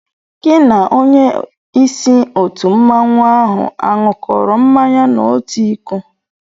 Gị na onyé ísí òtù mmanwu áhù aṅukoro mmanya n'otu ịkó?